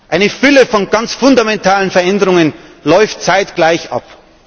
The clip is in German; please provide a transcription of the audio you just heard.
Eine Fülle von ganz fundamentalen Veränderungen läuft zeitgleich ab.